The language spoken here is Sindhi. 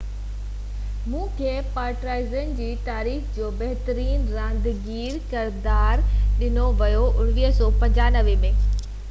1995 ۾ کي پارٽيزان جي تاريخ جو بهترين رانديگر قرار ڏنو ويو